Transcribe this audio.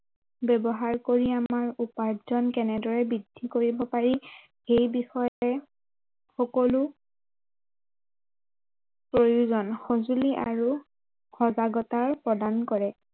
ব্য়ৱহাৰ কৰি আমাৰ উপাৰ্জন কেনেদৰে বৃদ্ধি কৰিব পাৰি সেই বিষয়ে সকলো প্ৰয়োজন সঁজুলি আৰু সজাগতায়ে প্ৰদান কৰে